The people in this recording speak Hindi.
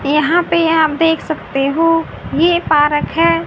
यहां पे आप देख सकते हो ये पारक है।